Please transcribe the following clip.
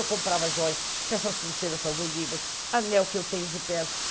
Eu comprava joias, porque essas pulseiras são do Líbano, anel que eu tenho de perna.